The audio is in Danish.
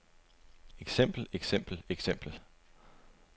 eksempel eksempel eksempel